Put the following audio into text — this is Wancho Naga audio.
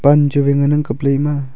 pan chu wai ngan ang kapley ema.